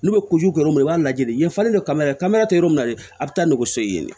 N'u bɛ kɛ yɔrɔ min na i b'a lajɛ yan falen do kamera kamana tɛ yɔrɔ min na dɛ a bɛ taa n'u so ye yen de